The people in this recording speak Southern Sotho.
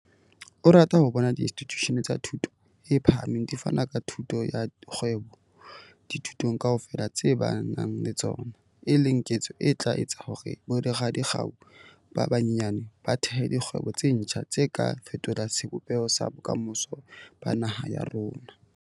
O rata ho bona diinstitjushene tsa thuto e phahameng di fana ka thuto ya kgwebo dithutong kaofela tse ba nang le tsona, e leng ketso e tla etsa hore boradikgau ba banyenyane ba thehe dikgwebo tse ntjha tse ka fetolang sebopeho sa bokamoso ba naha ya rona.